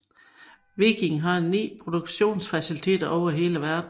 Viking har 9 produktionsfaciliteter over hele verden